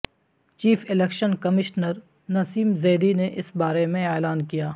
chief election commissioner Naseem Zaidi نے اس بارے میں اعلان کیا